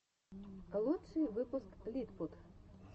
лучший выпуск литпут